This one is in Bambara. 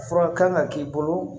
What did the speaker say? Fura kan ka k'i bolo